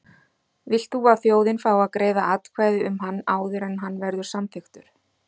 Vilt þú að þjóðin fái að greiða atkvæði um hann áður en hann verður samþykktur?